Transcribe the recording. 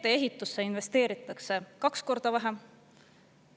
Teedeehitusse investeeritakse kaks korda vähem.